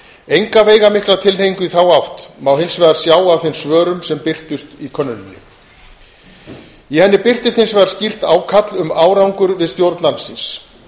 enga veigamikla tilhneigingu í þá átt má hins vegar sjá af þeim svörum sem birtust í könnuninni í könnuninni birtist skýrt ákall um árangur við stjórn landsins